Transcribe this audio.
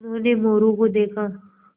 उन्होंने मोरू को देखा